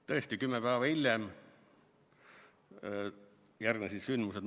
Tõesti, kümme päeva hiljem järgnesid Moskva sündmused.